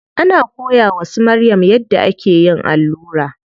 Ana koya wa su Maryam yadda ake yin allura.